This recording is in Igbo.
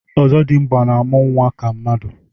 ọzọdimgba na-amụ nwa ka mmadụ.